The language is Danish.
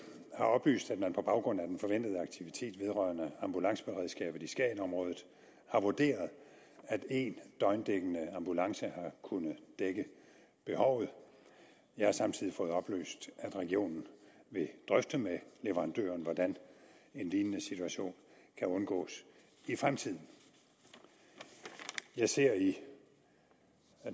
oplyst at man på baggrund af den forventede aktivitet vedrørende ambulanceberedskabet i skagenområdet har vurderet at én døgndækkende ambulance har kunnet dække behovet jeg har samtidig fået oplyst at regionen vil drøfte med leverandøren hvordan en lignende situation kan undgås i fremtiden jeg ser i